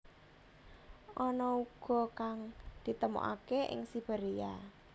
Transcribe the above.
Ana uga kang ditemokaké ing Siberia